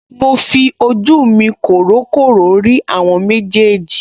Mo fi ojú mi kòrókòró rí àwọn méjèèjì